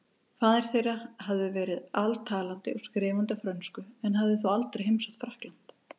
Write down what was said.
Faðir þeirra hafði verið altalandi og skrifandi á frönsku en hafði þó aldrei heimsótt Frakkland.